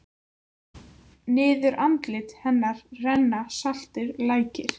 Niður andlit hennar renna saltir lækir.